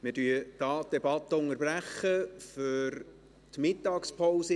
Wir unterbrechen die Debatte an dieser Stelle für die Mittagspause.